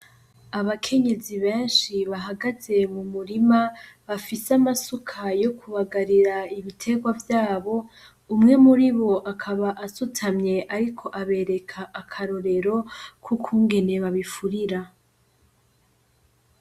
Abakenyezi benshi bahagaze m'umurima bafise amasuka yo kubagarira ibiterwa vyabo, umwe muribo akaba asutamye ariko abereka akarorero kukungene babifurira.